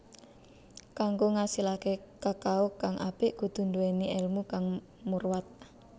Kanggo ngasilaké kakao kang apik kudu nduwèni èlmu kang murwat